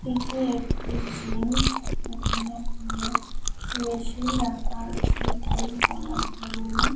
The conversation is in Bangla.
এটি একটি জিম এখানে জিম এর মেশিন রাখা আছে জিম করার জন্য।